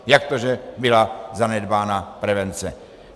Jak to, že byla zanedbána prevence.